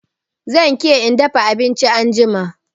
Zan ke in dafa abinchin anjima